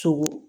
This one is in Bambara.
Sogo